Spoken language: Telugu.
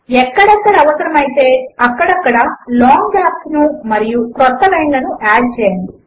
ఎక్కడ ఎక్కడ అవసరము అయితే అక్కడ అక్కడ లాంగ్ గ్యాప్స్ ను మరియు క్రొత్త లైన్ లను యాడ్ చేయండి